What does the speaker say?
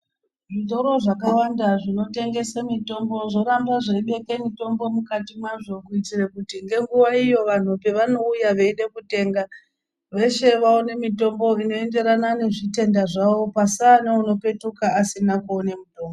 Zvitoro zvakawanda zvinotengesa mitombo zvoramba zveibeka mutombo mukati mazvo kuitira kuti ngenguwa iyo vanhu pavanouya veida kutenga veshe vaone mitombo inoenderana nezvitenda zvavo pasave neanopetuka asina kuona mutombo